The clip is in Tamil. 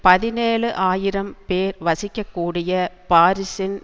பதினேழு ஆயிரம் பேர் வசிக்கக்கூடிய பாரிசின்